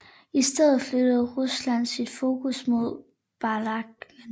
I stedet flyttede Rusland sit fokus mod Balkan